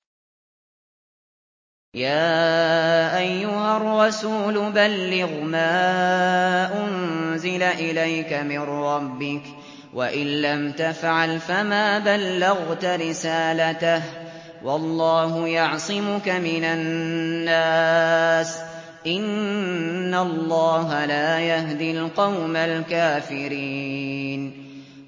۞ يَا أَيُّهَا الرَّسُولُ بَلِّغْ مَا أُنزِلَ إِلَيْكَ مِن رَّبِّكَ ۖ وَإِن لَّمْ تَفْعَلْ فَمَا بَلَّغْتَ رِسَالَتَهُ ۚ وَاللَّهُ يَعْصِمُكَ مِنَ النَّاسِ ۗ إِنَّ اللَّهَ لَا يَهْدِي الْقَوْمَ الْكَافِرِينَ